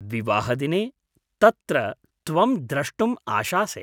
विवाहदिने तत्र त्वं द्रष्टुम् आशासे।